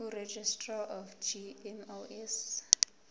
kuregistrar of gmos